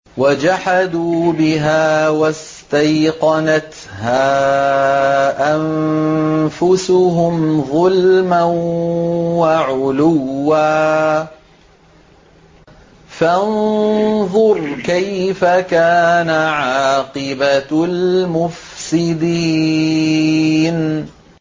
وَجَحَدُوا بِهَا وَاسْتَيْقَنَتْهَا أَنفُسُهُمْ ظُلْمًا وَعُلُوًّا ۚ فَانظُرْ كَيْفَ كَانَ عَاقِبَةُ الْمُفْسِدِينَ